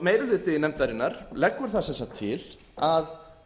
meiri hluti nefndarinnar leggur það sem sagt til að